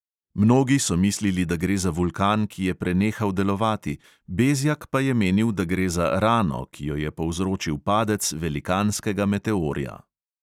Mnogi so mislili, da gre za vulkan, ki je prenehal delovati, bezjak pa je menil, da gre za "rano", ki jo je povzročil padec velikanskega meteorja.